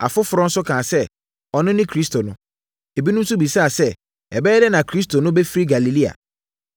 Afoforɔ nso kaa sɛ, “Ɔno ne Kristo no!” Ebinom nso bisaa sɛ, “Ɛbɛyɛ dɛn na Kristo no bɛfiri Galilea?